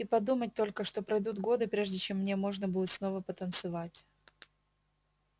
и подумать только что пройдут годы прежде чем мне можно будет снова потанцевать